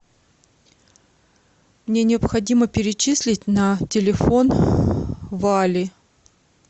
мне необходимо перечислить на телефон вали